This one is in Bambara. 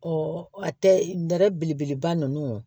a tɛ nɛrɛ belebeleba ninnu